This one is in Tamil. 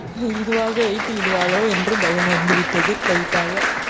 இதுவாக வைத்துவிடுவாளோ என்று பயம் வந்து விட்டது light ஆக